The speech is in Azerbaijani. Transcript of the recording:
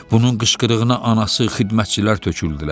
Bunun qışqırığına anası, xidmətçilər töküldülər.